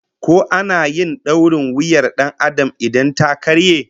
Ko ana yin dorin wuyar Dan Adam in ta karye?